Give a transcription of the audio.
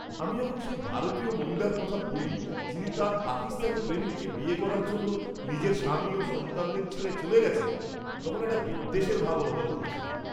আমি যখন সেই ভারতীয় মহিলার কথা পড়ি যিনি তাঁর পাকিস্তানি প্রেমিককে বিয়ে করার জন্য নিজের স্বামী ও সন্তানদের ছেড়ে চলে গেছেন, তখন একটা বিদ্বেষের ভাব অনুভব করেছিলাম।